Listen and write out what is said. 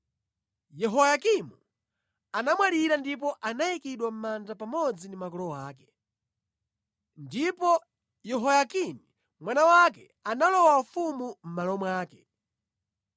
Yehoyakimu anamwalira ndipo anayikidwa mʼmanda pamodzi ndi makolo ake. Ndipo Yehoyakini mwana wake analowa ufumu mʼmalo mwake.